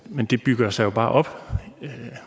men det bygger sig bare op